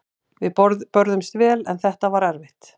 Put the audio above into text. Við börðumst vel en þetta var erfitt.